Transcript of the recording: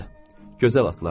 Gözəl atlardır.